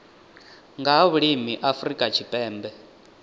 nga ha vhulimi afrika tshipembe